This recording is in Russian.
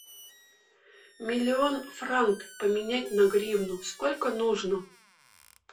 миллион франк поменять на гривну сколько нужно